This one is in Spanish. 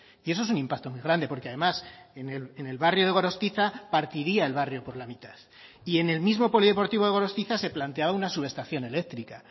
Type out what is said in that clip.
y eso es un impacto muy grande porque además en el barrio de gorostiza partiría el barrio por la mitad y en el mismo polideportivo de gorostiza se planteaba una subestación eléctrica